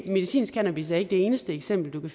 medicinsk cannabis er ikke det eneste eksempel man